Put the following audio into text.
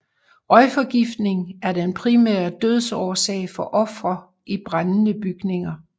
Røgforgiftning er den primære dødsårsag for ofre i brændende bygninger